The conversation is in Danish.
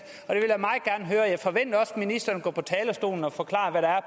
og ministeren går på talerstolen og forklarer hvad der er